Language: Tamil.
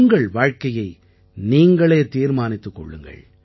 உங்கள் வாழ்க்கையை நீங்களே தீர்மானித்துக் கொள்ளுங்கள்